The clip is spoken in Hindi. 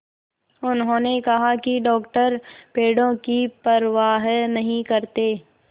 उन्होंने कहा कि डॉक्टर पेड़ों की परवाह नहीं करते